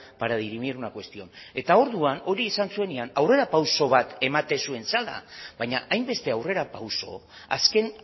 para dirimir una cuestión eta orduan hori esan zuenean aurrerapauso bat ematen zuen zela baina hainbeste aurrerapauso azken